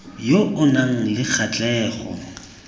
yo o nang le kgatlhego